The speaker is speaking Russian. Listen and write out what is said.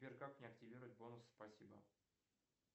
сбер как мне активировать бонусы спасибо